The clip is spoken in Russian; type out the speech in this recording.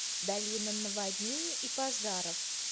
долина наводнений и пожаров